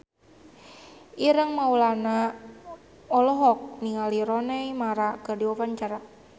Ireng Maulana olohok ningali Rooney Mara keur diwawancara